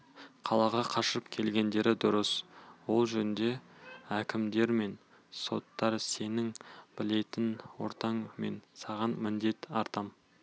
қалаға қашып келгендері дұрыс ол жөнде әкімдер мен соттар сенің білетін ортаң мен саған міндет артам